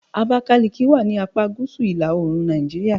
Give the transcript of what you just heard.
Abakiliki wà ni apá gúúsù ila-oorun Nàìjíríà. "